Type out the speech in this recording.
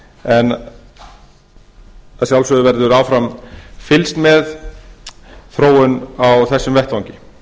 en að sjálfsögðu verður áfram fylgst með þróun á þessum vettvangi